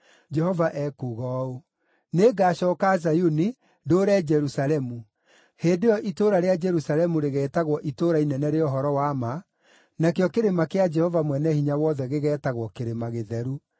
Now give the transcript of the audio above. Jehova ekuuga ũũ: “Nĩngacooka Zayuni, ndũũre Jerusalemu. Hĩndĩ ĩyo itũũra rĩa Jerusalemu rĩgeetagwo Itũũra Inene rĩa Ũhoro-wa-Ma, nakĩo kĩrĩma kĩa Jehova Mwene-Hinya-Wothe gĩgeetagwo Kĩrĩma Gĩtheru.”